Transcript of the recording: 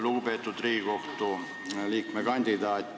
Lugupeetud Riigikohtu liikme kandidaat!